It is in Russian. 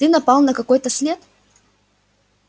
ты напал на какой-то след